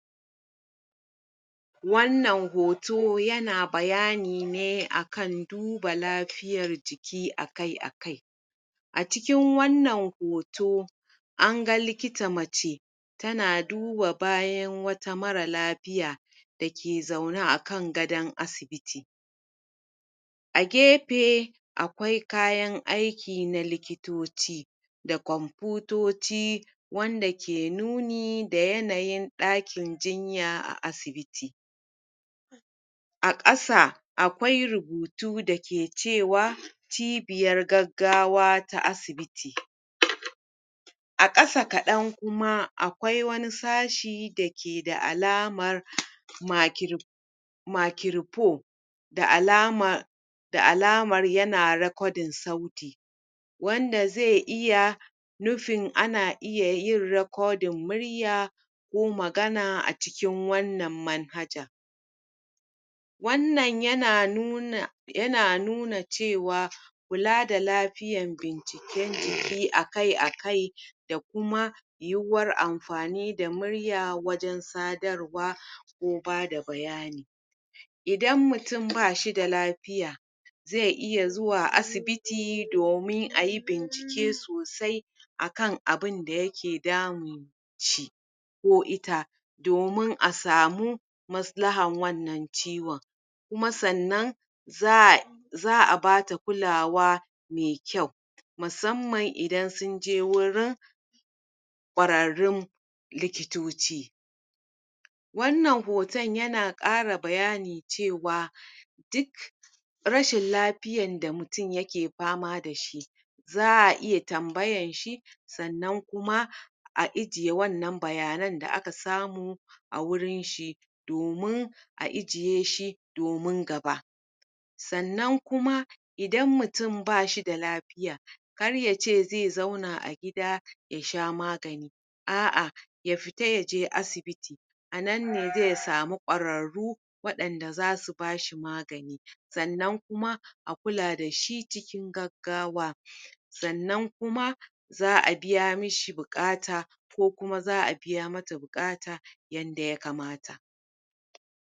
Wannan hoto yana bayani ne a kan duba lafiyar jiki a kai a kai a cikin wannan hoto an ga likita mace tana duba bayan wata mara lafiya da ke zaune akan gadon asibiti a gepe akwai kayan aiki na likitoci da kwamputoci wanda ke nuni da yanayin ɗakin jinya a asibiti a ƙasa akwai rubutu da ke cewa cibiyar gaggawa ta asibiti a ƙasa kaɗan kuma akwai wani sashi da ke da alaman um makirpo da alama da alamar yana sauti wanda ze iya nufin ana iya murya ko magana a cikin wannan manhaja wannan yana nuna cewa kula da lapiyan binciken jiki a kai a kai da kuma yiwuwar amfani da murya wajen sadarwa ko bada bayanii idan mutum ba shi da lapiya ze iya zuwa asibiti domin ayi bincike sosai a kan abunda yake damun shi ko ita domin a samu maslahan wanna cwon kuma sannan za za a bata kulawa me kyau musamman idan sunje wurin kwararrun likitoci wannan hoton yana ƙara bayani cewa duk rashin lapiyan da mutum yake pama da shi za a iya tambayan shi sannan kuma\ a ijiye wannan bayanan da aka samu a wurin shi domin a ijiye shi domin gaba sannan kuma idan mutum bashi da lapiya kar yce ze zauna a gida ya sha magani a'a ya fita yaje asibitii a nan n ]e ae samu kwararru wanda zasu bashi magani sannan kuma a kula da shi cikin gaggawa sannan kuma za a biya mishi buƙata ko kuma za a biya mata buƙata yanda ya kamata.